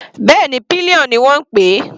Bẹ́ẹ̀ni, pillion ni wọ́n ń pè é.